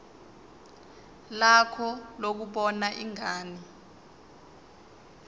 lakho lokubona ingane